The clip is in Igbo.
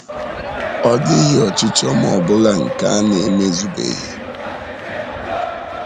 Ọ dịghị ọchịchọ m ọ bụla nke a na-emezubeghị. nke a na-emezubeghị.